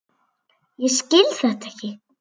Ég skil þetta ekki!